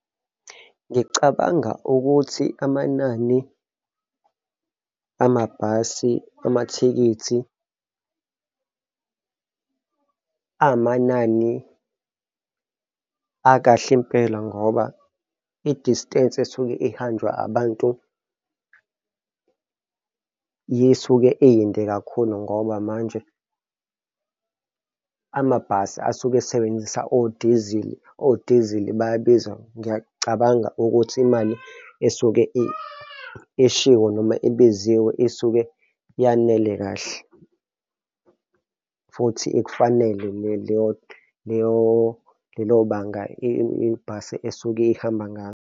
Ngicabanga ukuthi amanani amabhasi amathikithi amanani akahle impela ngoba i-distance esuke ihanjwa abantu yisuke iyinde kakhulu ngoba manje amabhasi asuke esebenzisa odizili, odizili bayabiza. Ngiyacabanga ukuthi imali esuke ishiwo noma ibiziwe isuke yanele kahle futhi ikufanele leyo, lelo banga ibhasi esuke ihamba ngalo.